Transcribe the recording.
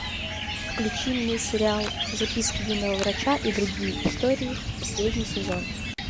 включи мне сериал записки юного врача и другие истории последний сезон